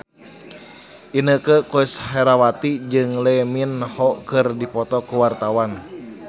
Inneke Koesherawati jeung Lee Min Ho keur dipoto ku wartawan